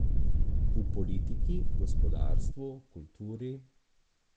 V politiki, gospodarstvu, kulturi ...